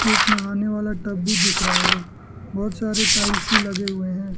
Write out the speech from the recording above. एक नहाने वाला टब भी दिख रहा है बहुत सारे टाइल्स भी लगे हुए हैं।